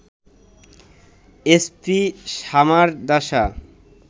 SP Samaradasa